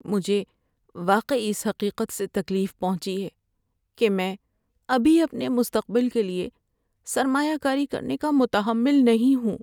مجھے واقعی اس حقیقت سے تکلیف پہنچی ہے کہ میں ابھی اپنے مستقبل کے لیے سرمایہ کاری کرنے کا متحمل نہیں ہوں۔